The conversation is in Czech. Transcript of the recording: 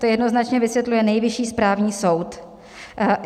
To jednoznačně vysvětluje Nejvyšší správní soud.